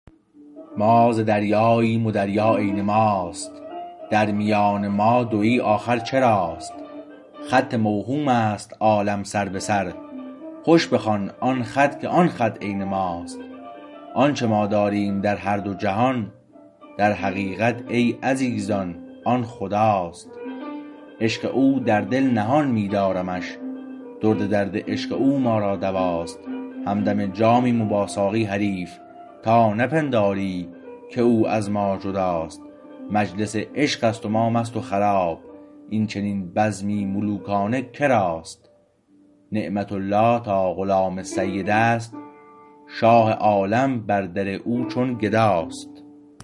ما ز دریاییم و دریا عین ماست در میان ما دویی آخر چراست خط موهومست عالم سر به سر خوش بخوان آن خط که آن خط عین ماست آنچه ما داریم در هر دو جهان در حقیقت ای عزیزان آن خداست عشق او در دل نهان می دارمش درد درد عشق او ما را دواست همدم جامیم و با ساقی حریف تا نپنداری که او از ما جداست مجلس عشقست و ما مست وخراب اینچنین بزمی ملوکانه کراست نعمت الله تا غلام سید است شاه عالم بر در او چون گداست